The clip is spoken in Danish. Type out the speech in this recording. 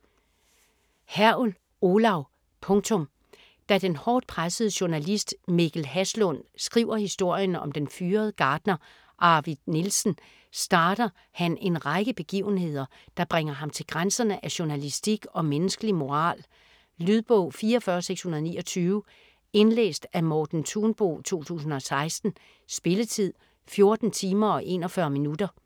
Hergel, Olav: Punktum Da den hårdt pressede journalist Mikkel Haslund skriver historien om den fyrede gartner Arvid Nielsen, starter han en række begivenheder, der bringer ham til grænserne af journalistisk og menneskelig moral. Lydbog 44629 Indlæst af Morten Thunbo, 2016. Spilletid: 14 timer, 41 minutter.